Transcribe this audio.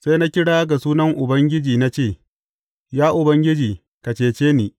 Sai na kira ga sunan Ubangiji na ce, Ya Ubangiji, ka cece ni!